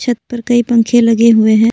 छत पर कई पंखे लगे हुए हैं।